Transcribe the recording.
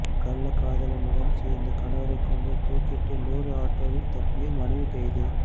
கள்ளக்காதலனுடன் சேர்ந்து கணவரைக் கொன்று தூக்கிலிட்டு லோடு ஆட்டோவில் தப்பிய மனைவி கைது